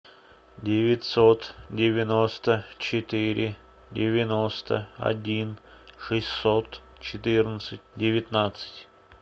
девятьсот девяносто четыре девяносто один шестьсот четырнадцать девятнадцать